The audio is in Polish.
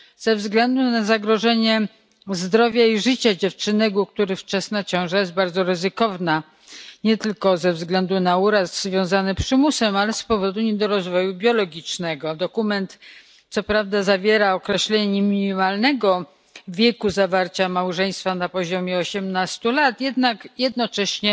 ze względu na zagrożenie zdrowia i życia dziewczynek, u których wczesna ciąża jest bardzo ryzykowna nie tylko ze względu na uraz związany z przymusem, ale i z powodu niedorozwoju biologicznego. Dokument co prawda zawiera określenie minimalnego wieku zawarcia małżeństwa wynoszącego osiemnaście lat, jednak jednocześnie